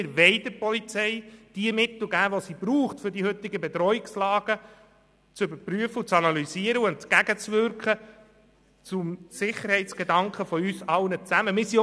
Wir möchten der Polizei die Mittel geben, die sie braucht, um die heutigen Bedrohungslagen zu überprüfen, zu analysieren und ihnen zugunsten der Sicherheit von uns allen entgegenzuwirken.